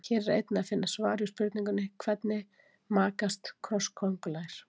Hér er einnig að finna svar við spurningunni: Hvernig makast krossköngulær?